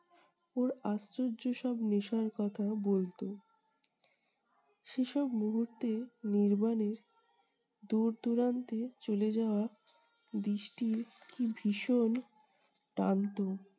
ওর আশ্চর্য সব নেশার কথা বলতো। সেসব মুহূর্তে নির্বাণের দূর দূরান্তে চলে যাওয়া দৃষ্টি কী ভীষণ টানতো-